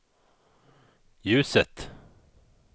ljuset